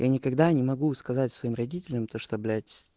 я никогда не могу сказать своим родителям то что блять